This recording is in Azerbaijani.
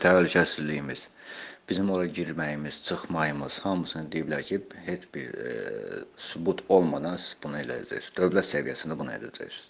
Bizim təhlükəsizliyimiz, bizim ora girməyimiz, çıxmağımız, hamısını deyiblər ki, heç bir sübut olmadan siz bunu edəcəksiniz, dövlət səviyyəsində bunu edəcəksiniz.